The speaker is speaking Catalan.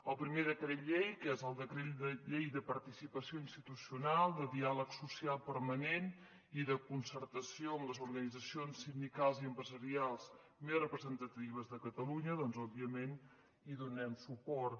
al primer decret llei que és el decret llei de participació institucional del diàleg social permanent i de concertació amb les organitzacions sindicals i empresarials més representatives de catalunya doncs òbviament hi donem suport